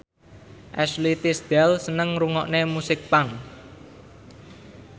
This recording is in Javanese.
Ashley Tisdale seneng ngrungokne musik punk